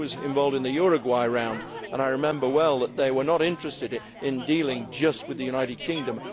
I was involved in the Uruguay Round, and I remember well that they were not interested in dealing just with the United Kingdom.